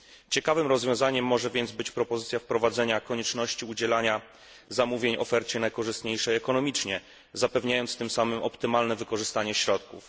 Ciekawym rozwiązaniem może więc być propozycja wprowadzenia konieczności udzielania zamówień ofercie najkorzystniejszej ekonomicznie, zapewniając tym samym optymalne wykorzystanie środków.